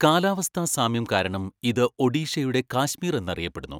കാലാവസ്ഥാ സാമ്യം കാരണം ഇത് ഒഡീഷയുടെ കാശ്മീർ എന്നറിയപ്പെടുന്നു.